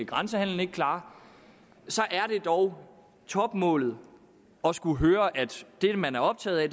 grænsehandelen ikke klare så er det dog topmålet at skulle høre at det man er optaget af